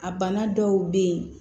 A bana dɔw be yen